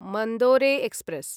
Mandore express